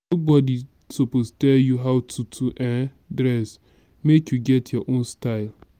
nobodi suppose tell you how to to um dress make you get your own style.